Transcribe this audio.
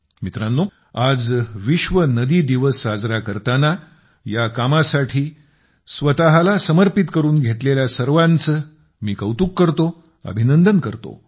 मित्रांनो आज विश्व नदी दिवस साजरा करताना या कामासाठी स्वतःला समर्पित करून घेतलेल्या सर्वांचे मी कौतुक करतो अभिनंदन करतो